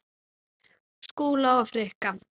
Skúla og Frikka?